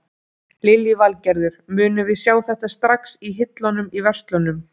Lillý Valgerður: Munum við sjá þetta strax í hillunum í verslunum?